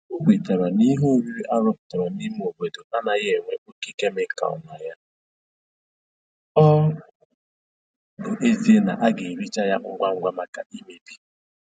O kwetara n'ihe oriri a rụpụtara n'ime obodo anaghị enwe oke kemịkal na ya, ọ bụ ezie na a ga-ericha ya ngwa ngwa maka imebi